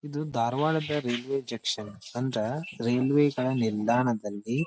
ಇದು ಧಾರವಾಡದ railway junction ಅಂದ್ರ ರೈಲ್ವೆಗಳ ನಿಲ್ದಾಣದಲ್ಲಿ.